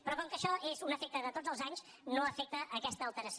però com que això és un efecte de tots els anys no afecta aques·ta alteració